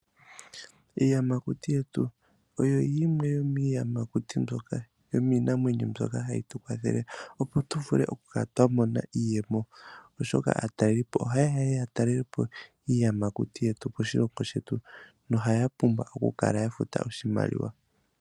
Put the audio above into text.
Iiyamakuti yetu oyo yimwe yomiinamwenyo mbyoka hayi tu kwathele opo tu vule oku kala twa mona iiyemo oshoka aatalelipo ohaye ya ya talelepo iiyamakuti yetu koshilongo shetu noha ya pumbwa oku kala ya futa oshimaliwa.